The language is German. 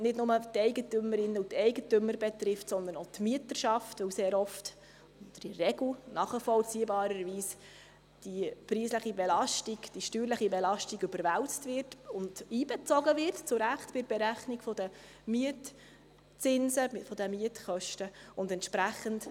Sie betrifft nicht nur die Eigentümerinnen und Eigentümer, sondern sehr oft, oder in der Regel, wird die steuerliche Belastung bei der Berechnung der Mietzinse und Mietkosten zu Recht überwälzt und einbezogen.